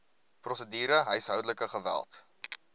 prosedure huishoudelike geweld